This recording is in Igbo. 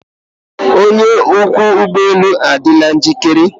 Onye ọkwọ ụgbọ elu adịla njikere?